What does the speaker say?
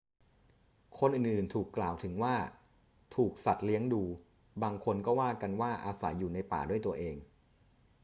คนอื่น ๆ ถูกกล่าวถึงว่าถูกสัตว์เลี้ยงดู บางคนก็ว่ากันว่าอาศัยอยู่ในป่าด้วยตัวเอง